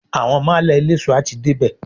Àwọn málà eléso a ti dé bè.